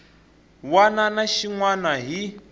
wana na xin wana hi